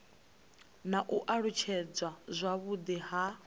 na u alutshedzwa zwavhudi ha